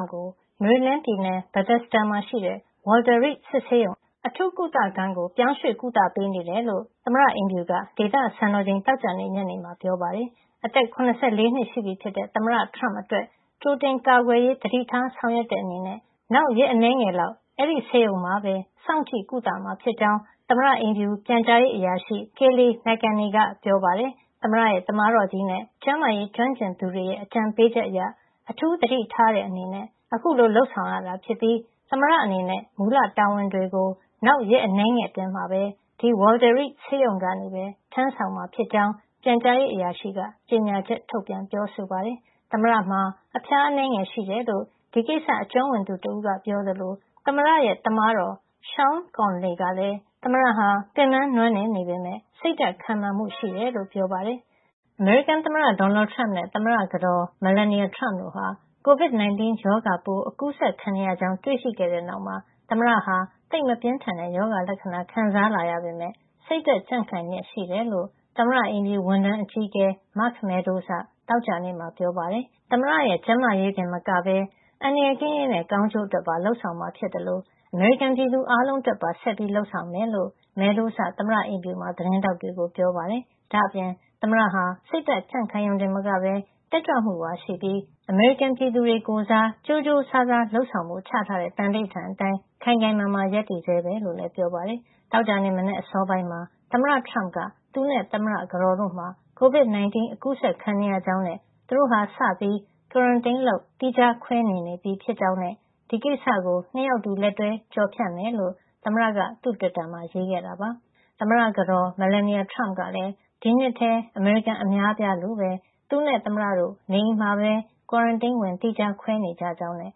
မ့်ကို မေရီလန်းပြည်နယ် Bethesda မှာရှိတဲ့ Walter Reed စစ်ဆေးရုံ အထူးကုသခန်းကို ပြောင်းရွှေ့ကုသပေးနေတယ်လို့ သမ္မတအိမ်ဖြူက ဒေသစံတော်ချိန် သောကြာနေ့ ညနေမှာ ပြောပါတယ်။ အသက် ၇၄ နှစ်ရှိပြီဖြစ်တဲ့ သမ္မတ ထရမ့်အတွက် ကြိုတင်ကာကွယ်ရေး သတိထားဆောင်ရွက်တဲ့ အနေနဲ့ နောက်ရက်အနည်းငယ် လောက် အဲဒီဆေးရုံမှာပဲ စောင့်ကြည့်ကုသမှာ ဖြစ်ကြောင်း သမ္မတအိမ်ဖြူ ပြန်ကြားရေးအရာရှိ Kayleigh McEnany က ပြောပါတယ်။ သမ္မတရဲ့ သမားတော်ကြီးနဲ့ ကျန်းမာရေးကျွမ်းကျင်သူတွေရဲ့ အကြံပေးချက်အရ အထူးသတိထားတဲ့ အနေနဲ့ အခုလို လုပ်ဆောင်တာ ဖြစ်ပြီး သမ္မတအနေနဲ့ မူလတာဝန်တွေကို နောက်ရက်အနည်းငယ်အတွင်း ဒီ Walter Reed ဆေးရုံကနေပဲ ထမ်းဆောင်မှာ ဖြစ်ကြောင်း ပြန်ကြားရေး အရာရှိက ကြေညာချက် ထုတ်ပြန် ပြောဆိုပါတယ်။ သမ္မတမှာ အဖျားအနည်းငယ်ရှိတယ်လို့ ဒီကိစ္စအကျွမ်းဝင်သူတဦးက ပြောသလို သမ္မတရဲ့ သမားတော် Sean P. Conley ကလည်း သမ္မတဟာ ပင်ပန်းနွမ်းနယ် နေပေမယ့် စိတ်ဓါတ် ခိုင်မာမှု ရှိကြောင်း ပြောပါတယ်။ သမ္မတဒေါ်နယ်ထရမ့်နဲ့ သမ္မတကတော် Melania Trump တို့ဟာ COVID-19 ရောဂါပိုး အကူးစက်ခံနေရကြောင်း တွေ့ရှိခဲ့တဲ့နောက်မှာ သမ္မတဟာ သိပ်မပြင်းထန်တဲ့ ရောဂါလက္ခဏာ ခံစားလာရပေမယ့် စိတ်ဓါတ်ကြံ့ခိုင်လျက်ရှိတယ်လို့ သမ္မတအိမ်ဖြူ ဝန်ထမ်းအကြီးအကဲ Mark Meadows က သောကြာနေ့မှာ ပြောပါတယ်။ သမ္မတမှာ ရောဂါလက္ခဏာ နဲနဲပြလာကြောင်းနဲ့ သမ္မတရဲ့ ကျန်းမာရေးတင်မကပဲ အန္တရာယ်ကင်းရေးနဲ့ ကောင်းကျိုးအတွက် လုပ်ဆောင်မှာ ဖြစ်သလို အမေရိကန်ပြည်သူအားလုံးအတွက်ပါ ဆက်ပြီး လုပ်ဆောင်မှာ ဖြစ်ကြောင်း. Meadows က သမ္မတအိမ်ဖြူမှာ သတင်းထောက်တွေကို ပြောပါတယ်။ ဒါ့အပြင် သမ္မတဟာ စိတ်ဓါတ်ကြံ့ခိုင်ရုံတင်မကပဲ တက်ကြွမှုပါ ရှိပြီး အမေရိကန်ပြည်သူတွေ ကိုယ်စား ကြိုးကြိုးစားစားလုပ်ဆောင်ဖို့ ချထားတဲ့ သံဓိဌာန် အတိုင်း ခိုင်ခိုင်မာမာ ဆက်ရပ်တည်ဆဲပဲ လို့လည်း ပြောပါတယ်။ သောကြာနေ့ မနက်အစောပိုင်းမှာ သမ္မတထရမ့်က သူနဲ့ သမ္မတကတော်တို့မှာ COVID 19 အကူးစက်ခံနေရကြောင်းနဲ့ သူတို့ဟာ စပြီး quarantine လုပ် သီးခြားခွဲနေနေပြီ ဖြစ်ကြောင်းနဲ့ ဒီကိစ္စကို ၂ ယောက်အတူ လက်တွဲ ကျော်ဖြတ်ကြမှာ ဖြစ်ကြောင်း သမ္မတက သူ့တွစ်တာမှာ ရေးခဲ့တာပါ။ သမ္မတကတော် Melania Trump ကလည်း COVID-19 အကူးစက်ခံခဲ့ရတဲ့နောက် ဒီနှစ်ထဲ အမေရိကန် အများအပြားလိုပဲ သူနဲ့သမ္မတတို့ နေအိမ်မှာပဲ quarantine ဝင် သီးခြားခွဲနေကြကြောင်းနဲ့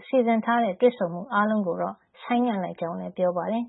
သူတို့ ၂ ဦးစလုံး နေကောင်းသလို စီစဉ်ထားတဲ့ တွေ့ဆုံမှုအားလုံးကိုတော့ ဆိုင်းငံ့လိုက်ကြောင်းလည်း ပြောပါတယ်